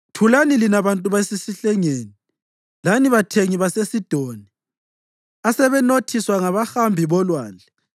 Thulani lina bantu basesihlengeni lani bathengi baseSidoni, asebanothiswa ngabahambi bolwandle.